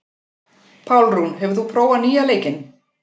Pálrún, hefur þú prófað nýja leikinn?